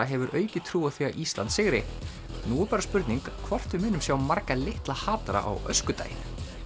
hefur aukið trú á því að Ísland sigri nú er bara spurning hvort við munum sjá marga litla á öskudaginn